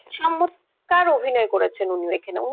চমৎকার অভিনয় করেছেন উনি এখানে,